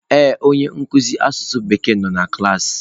Ee, onye nkuzi asụsụ Bekee nọ na klaasị.